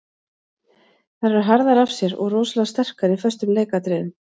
Þær eru harðar af sér og rosalega sterkar í föstum leikatriðum.